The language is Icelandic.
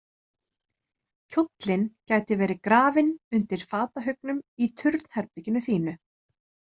Kjóllinn gæti verið grafinn undir fatahaugnum í turnherberginu þínu.